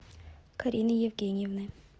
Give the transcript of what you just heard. карины евгеньевны